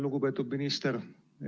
Lugupeetud minister!